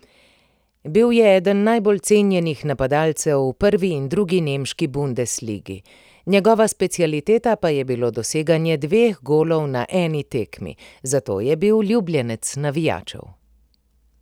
Bil je eden najbolj cenjenih napadalcev v prvi in drugi nemški bundesligi, njegova specialiteta pa je bilo doseganje dveh golov na eni tekmi, zato je bil ljubljenec navijačev.